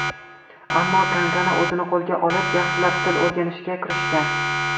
Ammo Kangana o‘zini qo‘lga olib yaxshilab til o‘rganishga kirishgan.